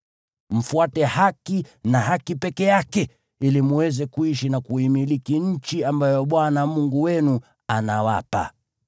Mfuate haki na haki peke yake, ili mweze kuishi na kuimiliki nchi ambayo Bwana Mungu wenu anawapa.